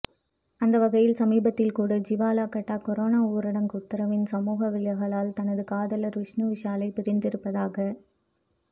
அந்தவகையில் சமீபத்தில் கூட ஜுவாலா கட்டா கொரோனா ஊரடங்கு உத்தரவின் சமூக விலகளால் தனது காதலர் விஷ்ணு விஷாலை பிரிந்திருப்பதாக